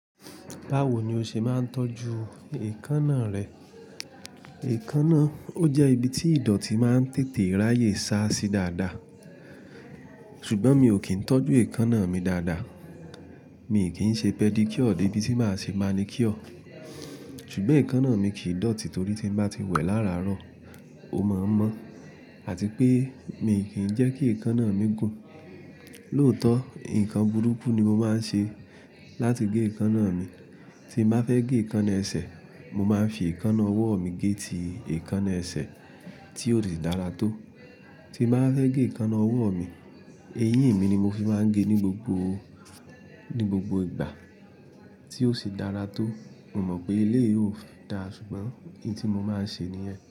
Báwo ni o ṣe máa ń tọ́jú èékánná rẹ? Èékánná, ó jẹ́ ibi tí ìdọ̀tí máa ń tètè ráyè sá sí dáadáa. Ṣùgbọ́n mi ò kí ń tọ́jú èékánná mi dáadáa. Mi kì n ṣe pedicure debi tí màá ṣe manicure. Ṣùgbọ́n èékánná mi kì í dọ̀tí torí tí n bá ti wẹ̀ lára àárọ̀, ó mọ̀ ọ́n mọ́. Àti pé mi kì n jẹ́ kí èékánná mi gùn. Lóòótọ́, nǹkan burúkú ni mo máa ń ṣe láti gé èékánná mi. Tí n bá fẹ́ gé èékánná ẹsẹ̀, mo máa n fi èékánná ọwọ́ mi gé ti èékánná ẹsẹ̀ tí ó sì dára tó. Tí mo bá fẹ́ gé èékánná ọwọ́ mi, eyín mi ni mo fi máa ń gé ní gbogbo, ní gbogbo ìgbà tí ó sì dára tó. Mo mọ̀ pé eleyi yìí ò da ṣùgbọ́n nwun ti mo máa ṣe níyẹn?